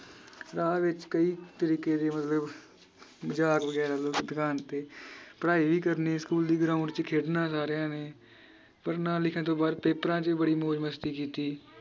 class ਵਿਚ ਕਈ ਤਰੀਕੇ ਦੇ ਮਤਲਬ ਮਜਾਕ ਵਗੈਰਾ ਤੇ ਪੜ੍ਹਾਈ ਵੀ ਕਰਨੀ ਸਕੂਲ ਦੀ ground ਵਿਚ ਖੇਡਣਾ ਸਾਰਿਆਂ ਨੇ ਪੜ੍ਹਨਾ ਲਿਖਣ ਤੋਂ ਬਾਅਦ ਪੇਪਰਾਂ ਚ ਵੀ ਬੜੀ ਮੌਜ ਮਸਤੀ ਕੀਤੀ